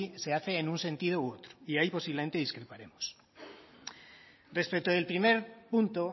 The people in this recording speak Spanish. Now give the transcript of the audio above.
se hace en un sentido u otro y ahí posiblemente discreparemos respecto del primer punto